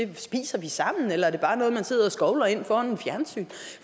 vi spiser sammen eller om det bare er noget man sidder og skovler ind foran fjernsynet